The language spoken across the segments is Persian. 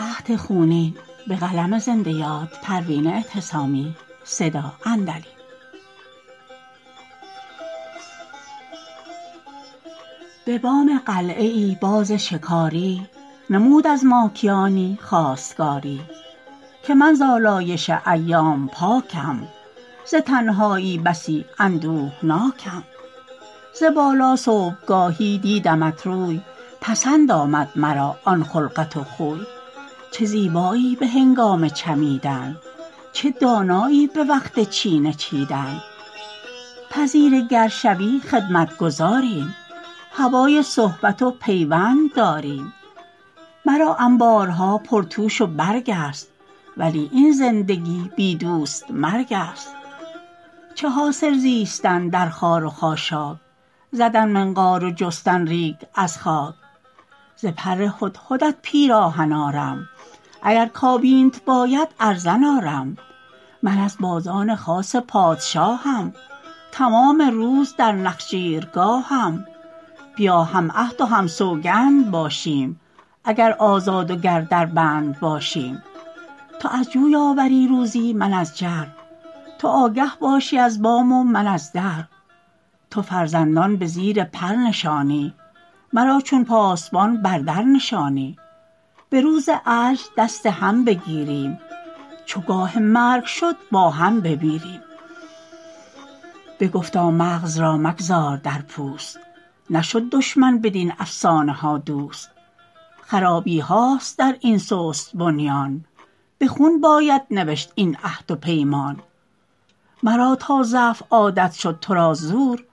به بام قلعه ای باز شکاری نمود از ماکیانی خواستگاری که من ز الایش ایام پاکم ز تنهایی بسی اندهناکم ز بالا صبحگاهی دیدمت روی پسند آمد مرا آن خلقت و خوی چه زیبایی بهنگام چمیدن چه دانایی بوقت چینه چیدن پذیره گر شوی خدمت گذاریم هوای صحبت و پیوند داریم مرا انبارها پرتوش و برگ است ولی این زندگی بی دوست مرگ است چه حاصل زیستن در خار و خاشاک زدن منقار و جستن ریگ از خاک ز پر هدهدت پیراهن آرم اگر کابینت باید ارزن آرم من از بازان خاص پادشاهم تمام روز در نخجیرگاهم بیا هم عهد و هم سوگند باشیم اگر آزاد و گر در بند باشیم تو از جوی آوری روزی من از جر تو آگه باشی از بام و من از در تو فرزندان بزیر پر نشانی مرا چون پاسبان بر در نشانی بروز عجز دست هم بگیریم چو گاه مرگ شد با هم بمیریم بگفتا مغز را مگذار در پوست نشد دشمن بدین افسانه ها دوست خرابیهاست در این سست بنیان بخون باید نوشت این عهد و پیمان مرا تا ضعف عادت شد ترا زور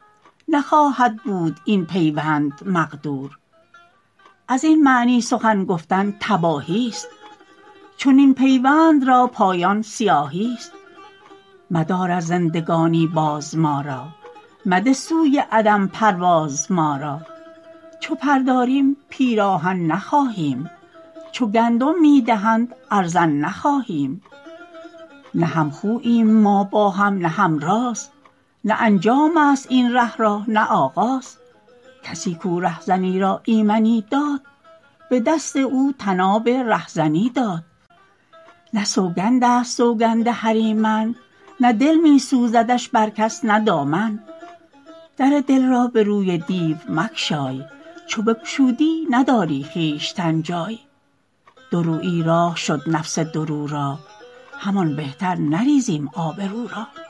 نخواهد بود این پیوند مقدور ازین معنی سخن گفتن تباهی است چنین پیوند را پایان سیاهی است مدار از زندگانی باز ما را مده سوی عدم پرواز ما را چو پر داریم پیراهن نخواهیم چو گندم میدهند ارزن نخواهیم نه هم خوییم ما با هم نه هم راز نه انجام است این ره را نه آغاز کسی کاو رهزنی را ایمنی داد بدست او طناب رهزنی داد نه سوگند است سوگند هریمن نه دل میسوزدش بر کس نه دامن در دل را بروی دیو مگشای چو بگشودی نداری خویشتن جای دورویی راه شد نفس دو رو را همان بهتر نریزیم آبرو را